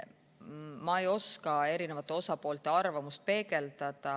Ma ei oska erinevate osapoolte arvamust peegeldada.